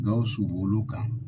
Gawusu b'olu kan